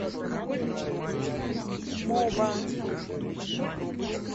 моба